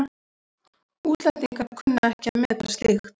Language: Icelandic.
Útlendingar kunna ekki að meta slíkt.